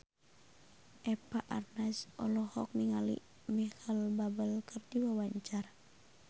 Eva Arnaz olohok ningali Micheal Bubble keur diwawancara